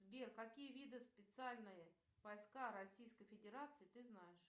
сбер какие виды специальные войска российской федерации ты знаешь